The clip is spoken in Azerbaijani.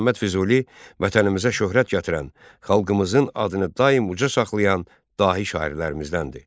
Məhəmməd Füzuli vətənimizə şöhrət gətirən, xalqımızın adını daim uca saxlayan dahi şairlərimizdəndir.